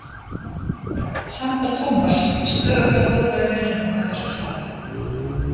Samt var Thomas stöðugt með blóðbragð í munninum á þessum stað.